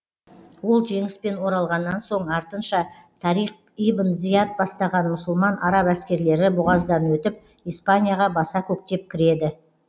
ол жеңіспен оралғаннан соң артынша тариқ ибн зияд бастаған мұсылман араб әскерлері бұғаздан өтіп испанияға баса көктеп кіреді